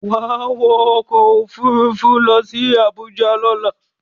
Wá wọ ọkọ̀ Òfurufú lọ sí Àbújá lọ́la!